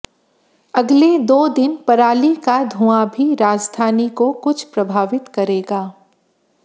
अगले दो दिन पराली का धुंआ भी राजधानी को कुछ प्रभावित करेगा